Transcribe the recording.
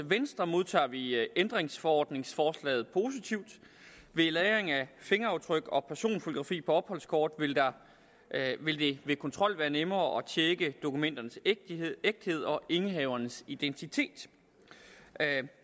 venstre modtager vi ændringsforordningsforslaget positivt ved lagring af fingeraftryk og personfotografi på opholdskort vil det ved kontrol være nemmere at tjekke dokumenternes ægthed og indehavernes identitet